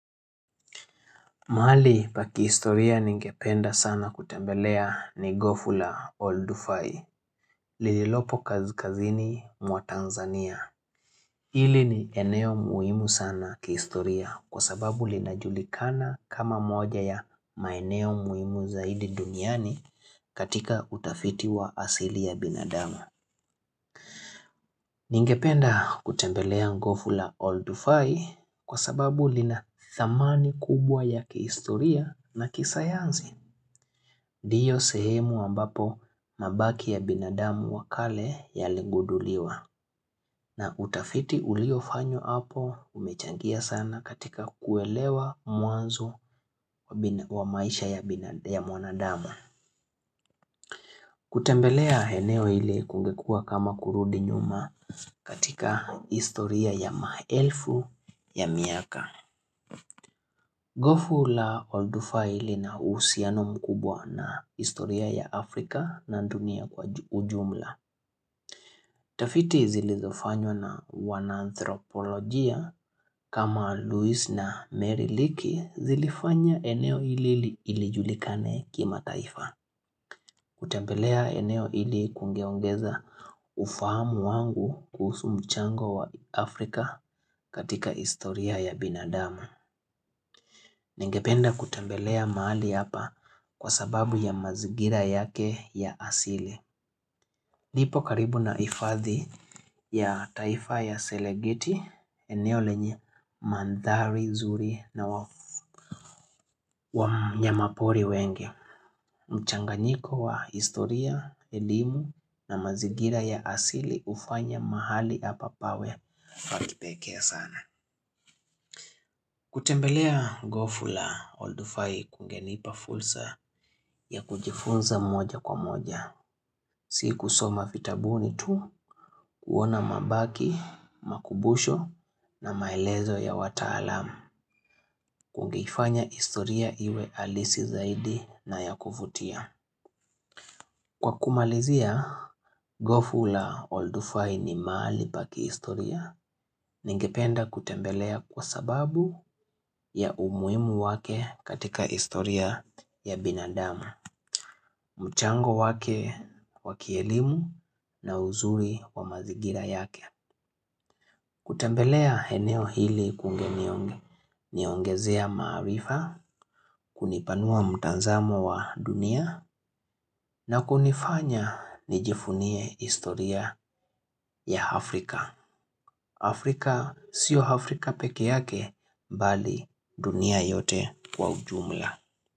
Mahali pa kiistoria ningependa sana kutembelea ni Gofu la Old Fai, lililopo kazkazini mwa Tanzania. Hili ni eneo muhimu sana kiistoria kwa sababu linajulikana kama moja ya maeneo muhimu zaidi duniani katika utafiti wa asili ya binadama. Ningependa kutembelea Ngoful a Old Fai kwa sababu lina thamani kubwa ya kiistoria na kisayanzi. Diyo sehemu ambapo mabaki ya binadamu wa kale yaliguduliwa na utafiti uliofanywa hapo umechangia sana katika kuelewa mwanzo wa maisha ya mwanadama. Kutembelea heneo hili kungekua kama kurudi nyuma katika istoria ya maelfu ya miaka. Gofu la oldufai lina usiano mkubwa na istoria ya Afrika na dunia kwa ujumla. Tafiti zilizofanywa na wananthropolojia kama Louise na Mary Leakey zilifanya eneo ili ilijulikane kimataifa. Kutembelea eneo ili kungeongeza ufahamu wangu kuusu mchango wa Afrika katika istoria ya binadama. Ningependa kutembelea mahali hapa kwa sababu ya mazigira yake ya asili lipo karibu na ifadhi ya taifa ya selegeti eneo lenye manthari zuri na wafu ya wanyama pori wengi mchanganyiko wa historia, elimu na mazigira ya asili ufanya mahali hapa pawe pa kipekee sana kutembelea Gofu la Oldu Fai kungenipa fulsa ya kujifunza moja kwa moja. Sikusoma vitabuni tu kuona mabaki, makubusho na maelezo ya wataalam kungeifanya istoria iwe alisi zaidi na ya kufutia. Kwa kumalizia, Gofu la Oldufai ni maali pa kiistoria ningependa kutembelea kwa sababu ya umuimu wake katika istoria ya binadamu, mchango wake wa kielimu na uzuri wa mazigira yake. Kutembelea heneo hili kungeniongezea maarifa, kunipanua mtanzamo wa dunia na kunifanya nijifunie historia ya Afrika. Afrika sio Afrika peke yake mbali dunia yote kwa ujumla.